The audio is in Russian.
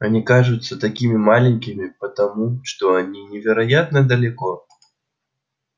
они кажутся такими маленькими потому что они невероятно далеко